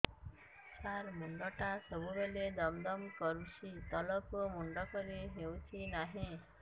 ସାର ମୁଣ୍ଡ ଟା ସବୁ ବେଳେ ଦମ ଦମ କରୁଛି ତଳକୁ ମୁଣ୍ଡ କରି ହେଉଛି ନାହିଁ